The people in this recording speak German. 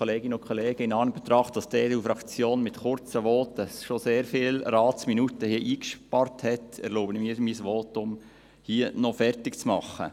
In Anbetracht dessen, dass die EDU-Fraktion mit kurzen Voten hier schon sehr viele Ratsminuten eingespart hat, erlaube ich mir, mein Votum hier noch fertig zu machen.